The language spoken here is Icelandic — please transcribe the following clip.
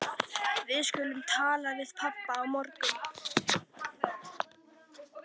Við skulum tala við pabba á morgun.